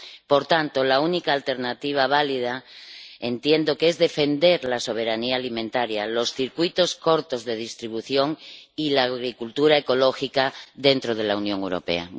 Por tanto, la única alternativa válida entiendo que es defender la soberanía alimentaria, los circuitos cortos de distribución y la agricultura ecológica dentro de la Unión Europea.